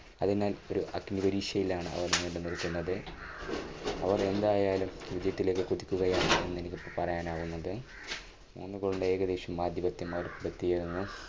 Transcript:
അതിനാൽ ഒരു അഗ്നിപരീക്ഷയിലാണ് അവർ വീണ്ടും നിൽക്കുന്നത്. അവർ എന്തായാലും വിജയത്തിലേക്ക് കുതിക്കുകയാണെന്നാണ് എനിക്ക് ഇപ്പോൾ പറയാൻ ആവുന്നത്. മൂന്ന് goal ൽ ഏകദേശം ആധിപത്യം അവർക്ക് കിട്ടിയിരുന്നു.